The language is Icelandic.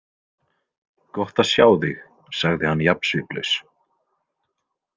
Gott að sjá þig, sagði hann jafn sviplaus.